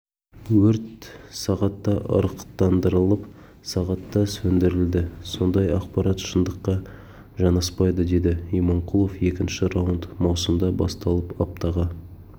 өрт сағатта ырықтандырылып сағатта сөндірілді ондай ақпарат шындыққа жанаспайды деді иманқұлов екінші раунд маусымда басталып аптаға